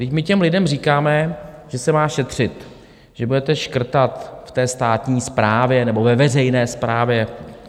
Vždyť my těm lidem říkáme, že se má šetřit, že budete škrtat v té státní správě nebo ve veřejné správě.